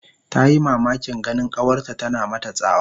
Tayi mamakin ganin kawarta tana mata tsawa